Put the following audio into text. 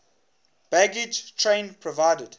baggage train provided